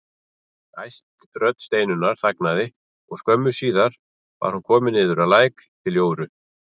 Æst rödd Steinunnar þagnaði og skömmu síðar var hún komin niður að læk til Jóru.